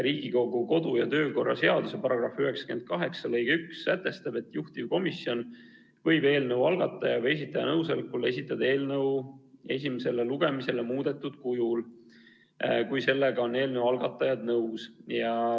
Riigikogu kodu- ja töökorra seaduse § 98 lõige 1 sätestab, et juhtivkomisjon võib eelnõu algataja või esitaja nõusolekul esitada eelnõu esimesele lugemisele muudetud kujul, kui sellega on eelnõu algatajad nõus.